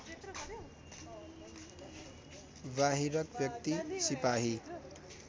बाहिरक व्यक्ति सिपाही